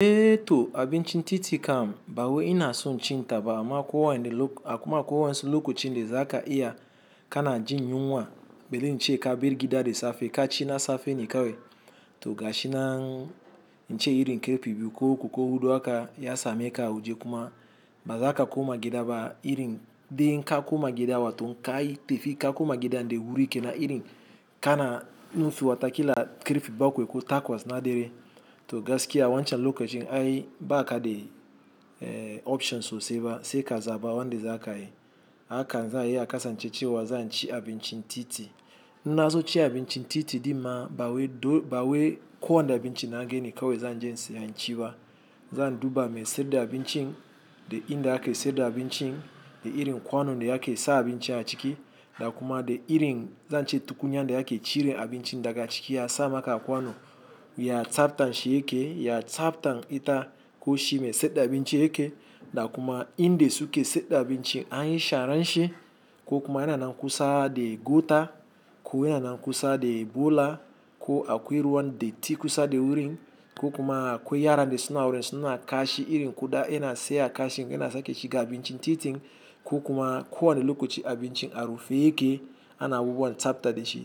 Eh to abincin titi kam, ba wai ina so cin ta ba, kuma akwai waƴansu lokacin da za ka iya ka na jin yunwa, bari in ce ka bar gida da safe ka ci na safe ne kawai. To gashi nan in ce irin ƙarfe biyu, ko uku, ko huɗu haka ya sameka a waje kuma ba za ka koma gida ba. Irin dai in ka koma gida waton ka yi tafi ka koma gidan daim wuri kenan irin kana nufi wata kila ƙarfe bakwai ko takwas na dare. To gaskiya wancan lokacin ai ba ka da options sosai ba. Sai ka zaɓa wanda za ka yi. Haka zai iya kasance cewa zan ci abincin titi. In na zo cin abincin titi ɗin ma ba wai ko wanne abinci na gani bane kawai zan je in saya in ci ba. Zan duba me sai da abincin, da in da ake saida abincin, da irin kwanon da ake sa abinci a ciki, da kuma da irin zan ce tukunya da yake cire abinci daga ciki a sa maka a kwano. Ya tsabtan shi yake, ya tsabtan ita ko shi me saida abinci yake. Da kuma inda suke saida abinci anyi sharan shi. Ko kuma yana nan kusa da gota, ko yana nan kusa da bola, ko akwai ruwan datti kusa da wurin, ko kuma akwai yara da suna wurin suna kashi irin kuda yana saya a kashin yana sake shiga abincin titin. Ko kuma ko wane lokaci abincin a rufe yake ana abubuwan tsabta da shi.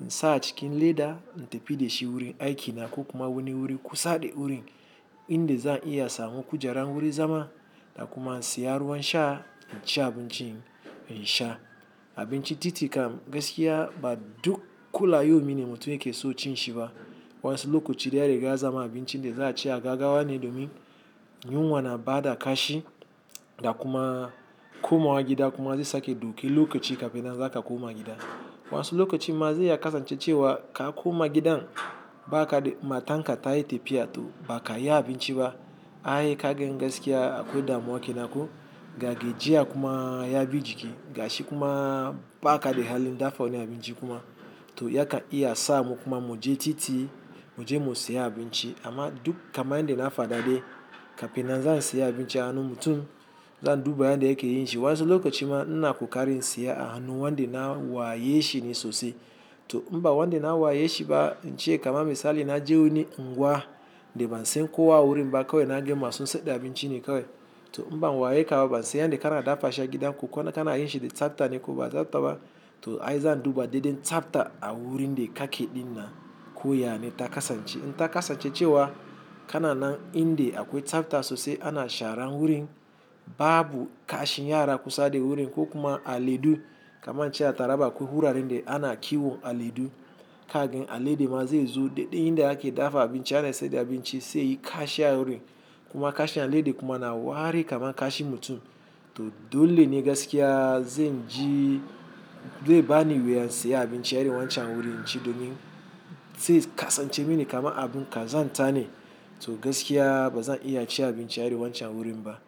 Haka zai iya kasance cewa zan ci abincin titi. In na zo cin abincin titi ɗin ma ba wai ko wanne abinci na gani bane kawai zan je in saya in ci ba. in sa a cikin leda in tafi da shi wurin aiki na ko kuma wani wuri kusa da wurin. Inda zan iya samu kujara wurin zama da kuma in siya ruwan sha in ci abinci in sha. Abinci titi kam gaskiya ba duk kula yau mini mutum yake so cin shi ba. Waƴansu lokaci dai ya riga ya zama abincin da za a ce ka ga wane domin. Yunwa na bada kashi. Da kuma komawa gida kuma zai sake dauke lokaci kafin nan za ka koma gida. Waƴansu lokaci ma zai iya kasance cewa ka koma gidan ba ka da, matanka ta yi tafiya to ba ka iya abinci ba. Ai ka gan gaskiya akwai damuwa kenan ko? Ga gajiya kuma ya bi jiki, ga shi kuma ba ka da halin dafa wani abinci kuma. To ya ka iya sa mu kuma mu je titi mu je mu saya abinci. Amma duk kamar inda na faɗa dai kafinan za a siya abinci a hannun mutum. Zan duba yanda yake yin shi. Waƴansu lokaci ma ina ƙokarin siya a hannun wanda na waye shi ne sosai. To in ba wanda na waye shi ba in ce kamar misali na je wani unguwa da ban san kowa a wurin ba kawai na gani masu saida abinci ne kawai. To in ban waye ka ba, ban san yanda kana dafa shi a gida ko kana yin shi da tsabta ne ko ba tsabta ba. To ai zan duba daidai tsabta a wurin da kake ɗinnan ko yane ta kasance. In ta kasance cewa kana nan inda akwai tsabta sosai ana sharan wurin babu kashin yara kusa da wurin ko kuma aladu kamar in ce a taraba akwai wuraren da ana kiwon aladu. Ka gan alade ma zai zo daidai inda ake dafa abinci ana saida abinci sai yayi kashi a wurin, kuma kashi alade kuma na wark kaman kashin mutum. To dole ne gaskiya zan ji, zai bani wuya in saya abinci a irin wancan wurin in ci domin sai kasance mini kamar abun kazanta ne. To gaskiya ba zan iya ci abinci a irin wancan wurin ba.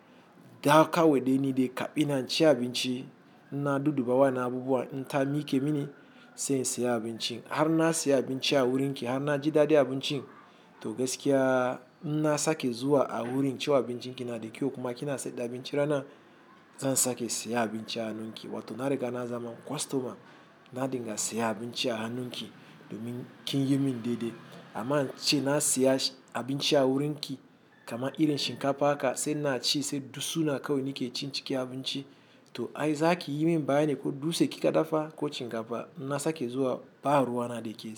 Da kawai dai ni dai ina in ci abinci ina dudduba waƴannan abubuwa in ta miƙe mini sai in saya abincin. Har na saya abinci a wurin ki har na ji daɗi abincin to gaskiya. In na sake zuwa a wurin cewa abincin ki na da kyau kuma kina saida abinci rana zan sake siya abinci a hannun ki. Wato na riga na zama customer na dinga siya abinci a hannun ki domin kin yi min daidai. Amma in ce na siya abinci a wurin ki kamar irin shinkafa haka sai ina ci sai dutsuna kawai ne ke cin cikin abinci. To ai za ki yi min bayani ko dutse kika dafa ko shinkafa in na sake zuwa ba ruwa na da ke.